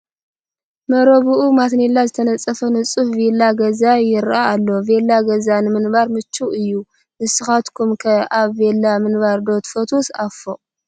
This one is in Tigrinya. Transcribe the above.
መረብኡ ማተኔላ ዝተነፀፈ ንፁህ ቪላ ገዛ ይርአ ኣሎ፡፡ ቪላ ገዛ ንምንባር ምቹው እዩ፡፡ ንሳኻትኩም ከ ኣብ ቪላ ምንባር ዶ ትፈትዉስ ኣብ ፎቕ?